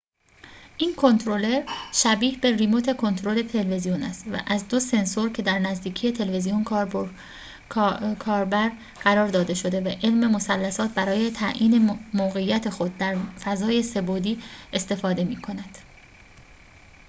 این کنترلر شبیه به ریموت کنترل تلویزیون است و از دو سنسور که در نزدیکی تلویزیون کاربر قرار داده شده و علم مثلثات برای تعیین موقعیت خود در فضای سه بعدی استفاده می‌کند